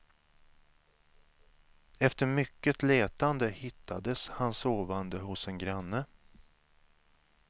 Efter mycket letande hittades han sovande hos en granne.